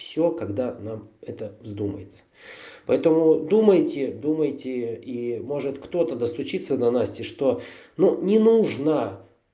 всё когда нам это вздумается поэтому думайте думайте и может кто-то даст учиться на насте что ну не нужно